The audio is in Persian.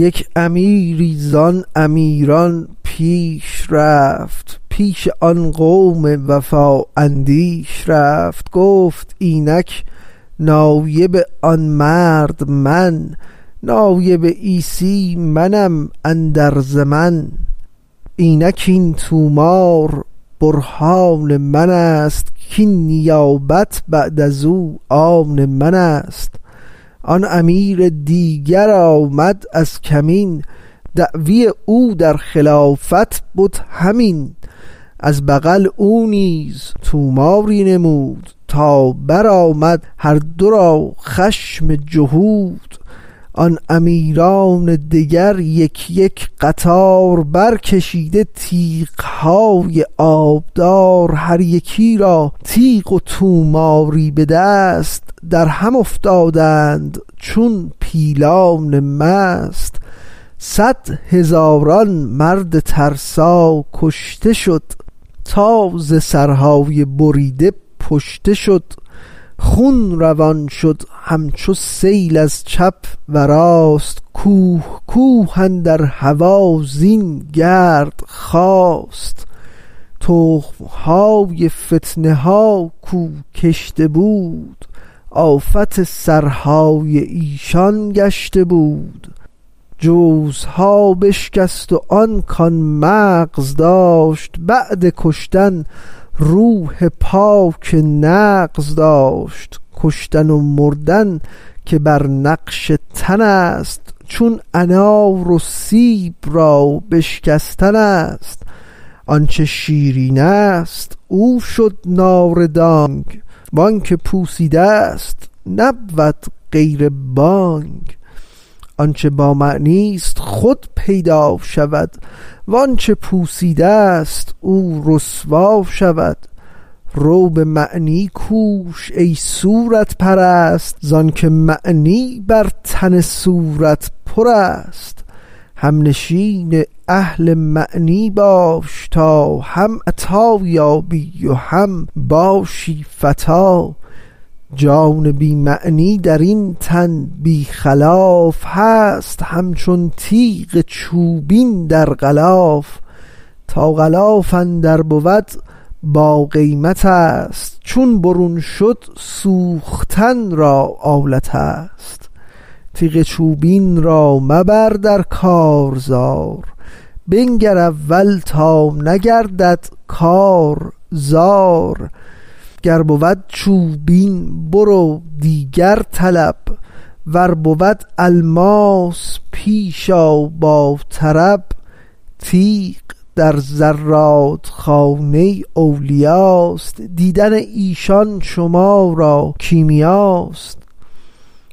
یک امیری زان امیران پیش رفت پیش آن قوم وفا اندیش رفت گفت اینک نایب آن مرد من نایب عیسی منم اندر زمن اینک این طومار برهان منست کین نیابت بعد ازو آن منست آن امیر دیگر آمد از کمین دعوی او در خلافت بد همین از بغل او نیز طوماری نمود تا برآمد هر دو را خشم جهود آن امیران دگر یک یک قطار برکشیده تیغهای آبدار هر یکی را تیغ و طوماری به دست درهم افتادند چون پیلان مست صد هزاران مرد ترسا کشته شد تا ز سرهای بریده پشته شد خون روان شد همچو سیل از چپ و راست کوه کوه اندر هوا زین گرد خاست تخم های فتنه ها کو کشته بود آفت سرهای ایشان گشته بود جوزها بشکست و آن کان مغز داشت بعد کشتن روح پاک نغز داشت کشتن و مردن که بر نقش تنست چون انار و سیب را بشکستنست آنچ شیرینست او شد ناردانگ وانک پوسیده ست نبود غیر بانگ آنچ با معنیست خود پیدا شود وانچ پوسیده ست او رسوا شود رو بمعنی کوش ای صورت پرست زانک معنی بر تن صورت پرست همنشین اهل معنی باش تا هم عطا یابی و هم باشی فتیٰ جان بی معنی درین تن بی خلاف هست همچون تیغ چوبین در غلاف تا غلاف اندر بود باقیمتست چون برون شد سوختن را آلتست تیغ چوبین را مبر در کارزار بنگر اول تا نگردد کار زار گر بود چوبین برو دیگر طلب ور بود الماس پیش آ با طرب تیغ در زرادخانه اولیاست دیدن ایشان شما را کیمیاست